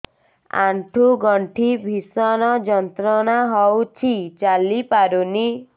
ଆଣ୍ଠୁ ଗଣ୍ଠି ଭିଷଣ ଯନ୍ତ୍ରଣା ହଉଛି ଚାଲି ପାରୁନି